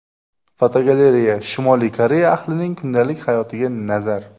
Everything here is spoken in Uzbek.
Fotogalereya: Shimoliy Koreya ahlining kundalik hayotiga nazar.